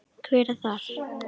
Hver er þar?